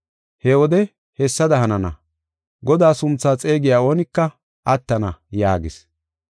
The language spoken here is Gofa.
He wode hessada hanana; Godaa sunthaa xeegiya oonika attana’ yaagis.